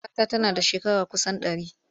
Kakata tana da shekara kusan ɗari.